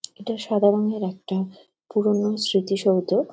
এটা সাদা রঙের একটা পুরোনো স্মৃতি-সৌধ ।